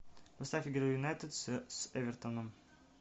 поставь игру юнайтед с эвертоном